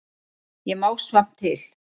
Ég má samt til.